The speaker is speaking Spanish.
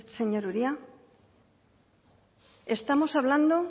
señor uria estamos hablando